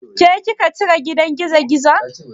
Ke kika cire gidan gizogizon?